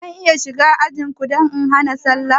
Zan iya shiga ajinku da hana sallah?